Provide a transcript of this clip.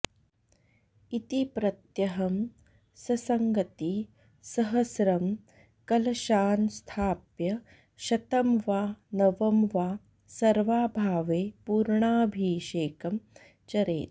इति प्रत्यहं ससङ्गति सहस्रं कलशान् स्थाप्य शतं वा नव वा सर्वाभावे पूर्णाभिषेकं चरेत्